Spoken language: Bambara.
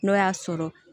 N'o y'a sɔrɔ